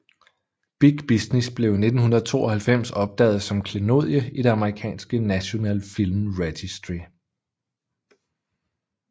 Big Business blev i 1992 optaget som klenodie i det amerikanske National Film Registry